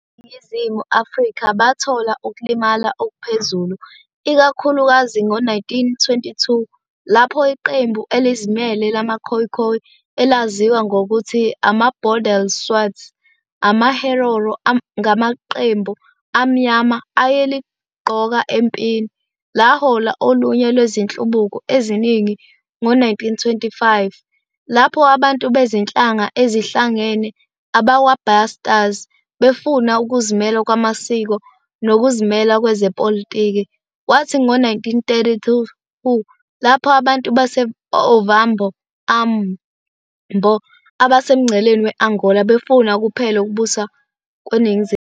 Abantu baseNingizimu Afrika bathola ukulimala okuphezulu, ikakhulukazi ngo-1922, lapho iqembu elizimele lamaKhoikhoi - elaziwa ngokuthi amaBondelswarts - amaHerero ngamaqembu amnyama ayeligqoka empini - lahola olunye lwezinhlubuki eziningi, ngo-1925, lapho abantu bezinhlanga ezihlangene - abakwaBasters - befuna ukuzimela kwamasiko nokuzimela kwezepolitiki, kwathi ngo-1932, lapho abantu base -Ovambo, Ambo, abasemngceleni we- Angola befuna kuphele ukubuswa kweNingizimu Afrika.